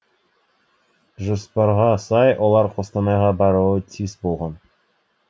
жоспарға сай олар қостанайға баруы тиіс болған